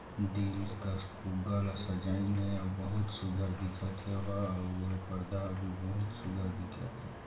दिल कर फुग्गा ला सजाईन हे बहुत सुघ्घर दिखत हे ओहा अउ एहा पर्दा भी बहुत सुंदर दिखत हे।